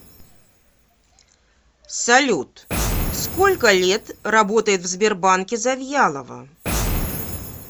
салют сколько лет работает в сбербанке завьялова